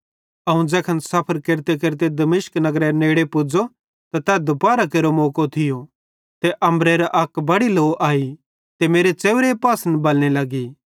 अवं ज़ैखन सफ़र केरतेकेरते दमिश्क नगरेरे नेड़े पुज़ो त तै दुपाहरां केरो मौको थियो ते अम्बरेरां अक बड़ी लौ आई ते मेरे च़ेव्रे पासन बलने लगी